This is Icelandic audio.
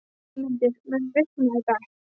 Heiðmundur, mun rigna í dag?